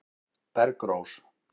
Bergrós